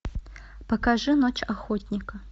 покажи ночь охотника